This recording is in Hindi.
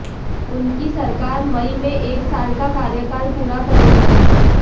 उनकी सरकार मई में एक साल का कार्यकाल पूरा करेगी